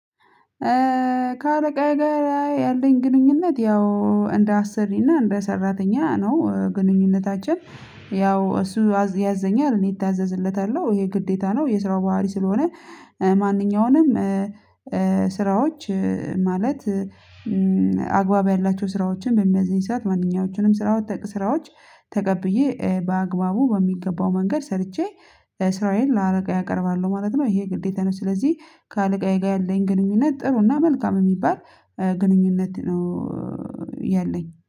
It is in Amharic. ከአለቃ ጋር ያለኝ ግንኙነት ያው እንደ አሰሪና እንደ ሰራተኛ ነው ግንኙነታችን። ያው እሱ ያዘኛል እኔ እታዘዝለታለሁ ይሄ ግዴታ ነው የስራው ባህሪ ስለሆነ። ከአለቃ ጋር ያለኝ ግንኙነት ያው እንደ አሰሪና እንደ ሰራተኛ ነው ግንኙነታችን። ያው እሱ ያዘኛል እኔ እታዘዝለታለሁ ይሄ ግዴታ ነው የስራው ባህሪ ስለሆነ። አግባብ ያላቸው ስራዎችን በሚያዝኝ፤ ሰዓት ማንኛዎቹንም ስራዎች ስራዎች ተቀብዬ በአግባቡ በሚገባው መንገድ ሰርቼ ስራዬን ለአለቃዬ አቀርባለሁ ማለት ነው። ይሄ ግዴታ ነው ስለዚህ ከአለቃዬ ጋር ያለኝ ግንኙነት ጥሩና መልካም የሚባል ግንኙነት ነው ያለኝ።